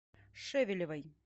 шевелевой